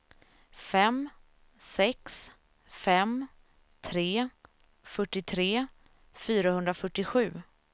fem sex fem tre fyrtiotre fyrahundrafyrtiosju